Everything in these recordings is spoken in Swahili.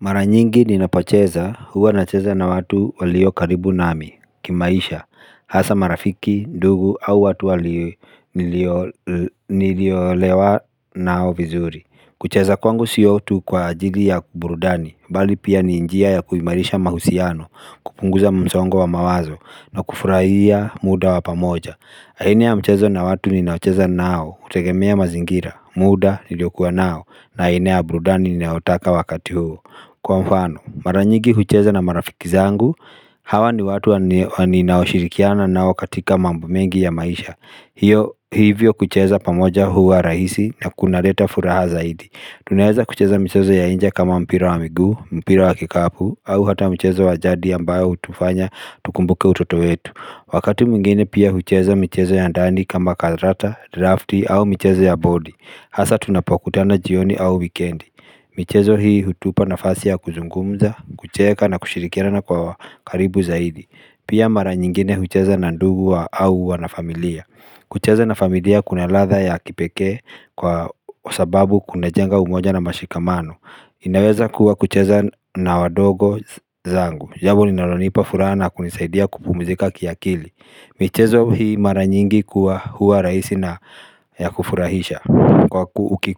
Mara nyingi ninapocheza huwa nacheza na watu walio karibu nami, kimaisha, hasa marafiki, ndugu au watu niliolewa nao vizuri. Kucheza kwangu sio tu kwa ajili ya burudani, bali pia ni njia ya kuimarisha mahusiano, kupunguza msongo wa mawazo, na kufurahia muda wa pamoja. Aina ya mchezo na watu ninaocheza nao, hutegemea mazingira, muda niliokuwa nao, na aina ya burudani ninayotaka wakati huo. Kwa mfano, mara nyingi hucheza na marafiki zangu, hawa ni watu ninaoshirikiana nao katika mambo mengi ya maisha. Hivyo kucheza pamoja huwa rahisi na kunaleta furaha zaidi. Tunaeza kucheza michezo ya nje kama mpira wa miguu, mpira wa kikapu, au hata mchezo wa jadi ambayo hutufanya tukumbuke utoto wetu. Wakati mwingine pia hucheza michezo ya ndani kama karata, drafti au michezo ya body Hasa tunapokutana jioni au wikendi michezo hii hutupa nafasi ya kuzungumza, kucheka na kushirikirana kwa karibu zaidi. Pia mara nyingine hucheza na ndugu au wanafamilia. Kucheza na familia kuna ladha ya kipekee kwa sababu kunajenga umoja na mashikamano. Inaweza kuwa kucheza na wadogo zangu jambo linalonipa furaha na kunisaidia kupumzika kiakili. Michezo hii mara nyingi kuwa huwa rahisi na ya kufurahisha.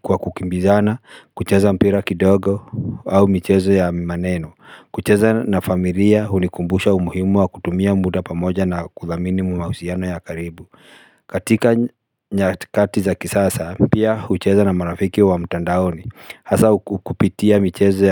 Kwa kukimbizana, kucheza mpira kidogo au michezo ya maneno. Kucheza na familia hunikumbusha umuhimu wa kutumia muda pamoja na kudhamini mahusiano ya karibu. Katika nyakati za kisasa, pia hucheza na marafiki wa mtandaoni. Hasa kupitia michezo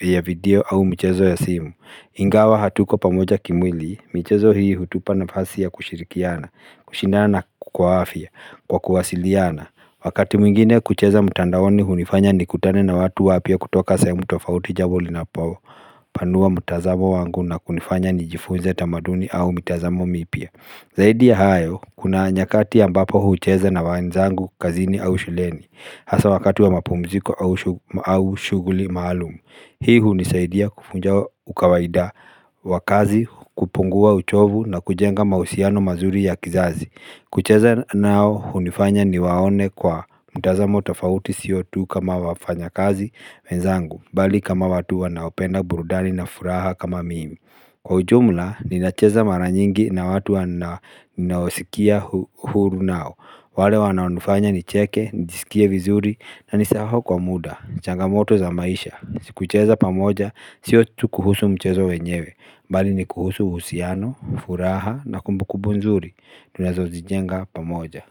ya video au michezo ya simu. Ingawa hatuko pamoja kimwili, michezo hii hutupa nafasi ya kushirikiana, kushindana na kwa afya, kwa kuwasiliana Wakati mwingine kucheza mtandaoni hunifanya nikutane na watu wapya kutoka sehemu tofauti, jambo linapopanua mtazamo wangu na kunifanya nijifunze tamaduni au mitazamo mipya. Zaidi ya hayo, kuna nyakati ambapo hucheza na wenzangu kazini au shuleni. Hasa wakati wa mapumziko au shughuli maalum. Hii hunisaidia kuvunja ukawaida wa kazi, kupungua uchovu na kujenga mahusiano mazuri ya kizazi. Kucheza nao hunifanya niwaone kwa mtazamo tofauti sio tu kama wafanyakazi wenzangu. Bali kama watu wanaopenda burudani na furaha kama mimi. Kwa ujumla, ninacheza mara nyingi na watu ninaosikia uhuru nao wale wanaonifanya nicheke, nijisikie vizuri na nisahau kwa muda changamoto za maisha. Si kucheza pamoja. Sio tu kuhusu mchezo wenyewe. Bali ni kuhusu uhusiano, furaha na kumbukumbu nzuri. Tunazozijenga pamoja.